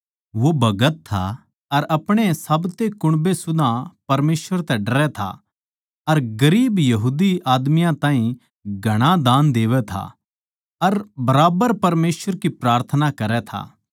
वो भगत था अर अपणे साब्ते कुण्बे सुदा परमेसवर तै डरै था अर गरीब यहूदी आदमियाँ ताहीं घणा दान देवै था अर बराबर परमेसवर की प्रार्थना करै था